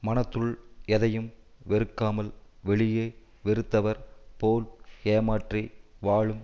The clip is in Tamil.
மனத்துள் எதையும் வெறுக்காமல் வெளியே வெறுத்தவர் போல் ஏமாற்றி வாழும்